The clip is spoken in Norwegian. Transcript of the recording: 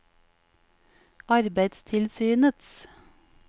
arbeidstilsynets